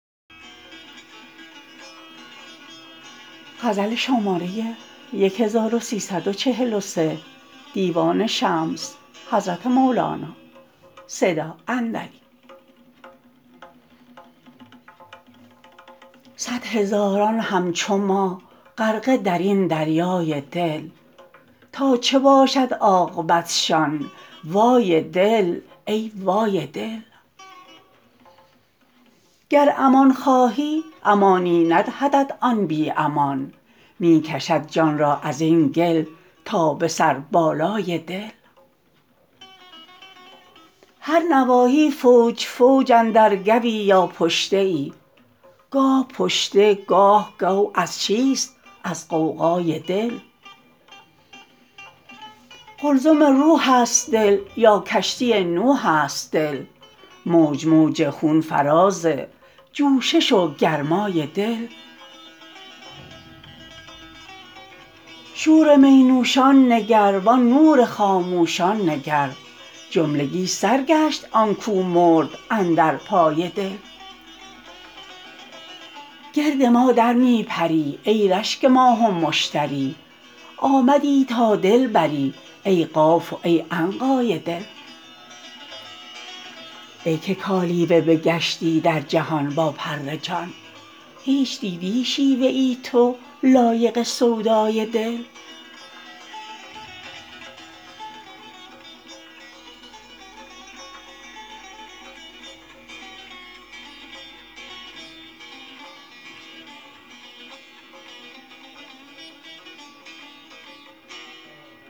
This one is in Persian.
صد هزاران همچو ما غرقه در این دریای دل تا چه باشد عاقبتشان وای دل ای وای دل گر امان خواهی امانی ندهدت آن بی امان می کشد جان را از این گل تا به سربالای دل هر نواحی فوج فوج اندر گوی یا پشته ای گاه پشته گاه گو از چیست از غوغای دل قلزم روحست دل یا کشتی نوحست دل موج موج خون فراز جوشش و گرمای دل شور می نوشان نگر وان نور خاموشان نگر جملگی سر گشت آن کو مرد اندر پای دل گرد ما در می پری ای رشک ماه و مشتری آمدی تا دل بری ای قاف و ای عنقای دل ای که کالیوه بگشتی در جهان با پر جان هیچ دیدی شیوه ای تو لایق سودای دل